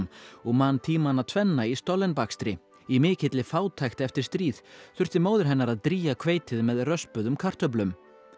og man tímana tvenna í bakstri í mikilli fátækt eftir stríð þurfti móðir hennar að drýgja hveitið með röspuðum kartöflum